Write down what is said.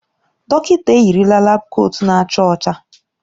Dọkịta eyirila laabu kootu na-acha ọcha.